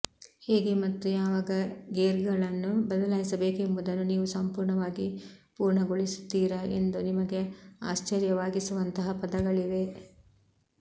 ಹೇಗೆ ಮತ್ತು ಯಾವಾಗ ಗೇರ್ಗಳನ್ನು ಬದಲಾಯಿಸಬೇಕೆಂಬುದನ್ನು ನೀವು ಸಂಪೂರ್ಣವಾಗಿ ಪೂರ್ಣಗೊಳಿಸುತ್ತೀರಾ ಎಂದು ನಿಮಗೆ ಆಶ್ಚರ್ಯವಾಗಿಸುವಂತಹ ಪದಗಳಿವೆ